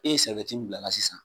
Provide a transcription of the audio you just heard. E ye sɛrɛwiyɛti min bila ala sisan